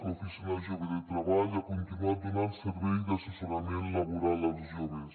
l’oficina jove de treball ha continuat donant servei d’assessorament laboral als joves